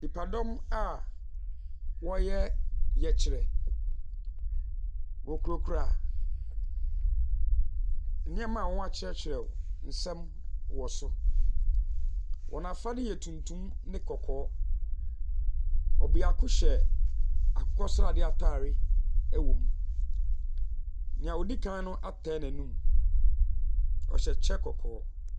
Nipadɔm bia ɔreyɛ ɔyɛkyerɛ. Ɔkurakura nnoɔma w'akyerɛkyerɛ nsɛm wɔ so. Wɔn afadeɛ yɛ tuntum ne kɔkɔɔ. Ɔbiako hyɛ akokɔ sradeɛ ataadeɛ wɔ mu. Nea odikan no atai n'anum, ɔhyɛ kyɛ kɔkɔɔ.